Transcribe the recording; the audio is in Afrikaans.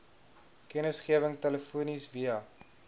kennisgewing telefonies via